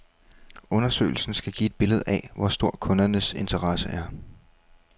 Undersøgelsen skal give et billede af, hvor stor kundernes interesse er.